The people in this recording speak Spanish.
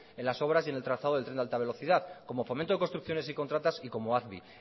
en las obras y en el trazado de tren de alta velocidad como fomento de construcciones y contratas y como acbi